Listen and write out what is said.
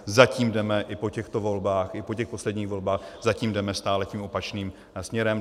Zatím jdeme i po těchto volbách, i po těch posledních volbách, zatím jdeme stále tím opačným směrem.